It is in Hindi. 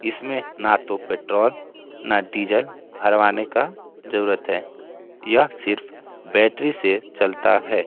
इसमें ना तो पेट्रोल ना डीजल भरवाने का जरूरत है । यह सिर्फ बैटरी से चलता है ।